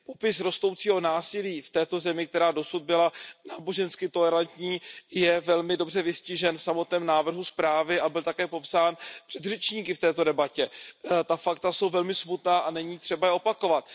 Popis rostoucího násilí v této zemi, která dosud byla nábožensky tolerantní, je velmi dobře vystižen v samotném návrhu usnesení a byl také popsán předřečníky v této debatě. Ta fakta jsou velmi smutná a není třeba je opakovat.